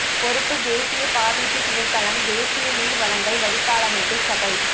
பொறுப்பு தேசிய பாதீட்டு திணைக்களம் ஃ தேசிய நீர் வழங்கல் வடிகாலமைப்பு சபை